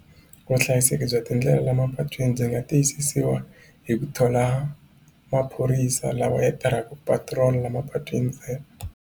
Vuhlayiseki bya tindlela la mapatwini byi nga tiyisisiwa hi ku thola maphorisa lawa ya tirhaka ku patirola la mapatwini ntsena.